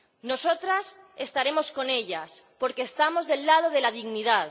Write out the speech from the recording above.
Nosotras estaremos con ellas porque estamos del lado de la dignidad.